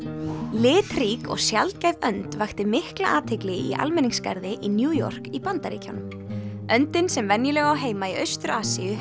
litrík og sjaldgæf önd vakti mikla athygli í almenningsgarði í New York í Bandaríkjunum öndin sem venjulega á heima í Austur Asíu